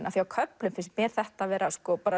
af því á köflum finnst mér þetta vera